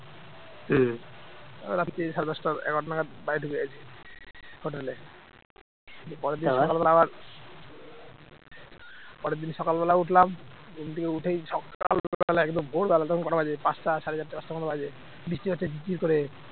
পরের দিন সকালবেলা উঠলাম ঘুম থেকে উঠেই সকালবেলা একদম ভোরবেলা তখন কটা বাজে পাঁচটা সাড়ে চারটে পাঁচটা মতো বাজে, বৃষ্টি হচ্ছে ঝিরঝির করে